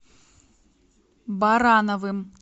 барановым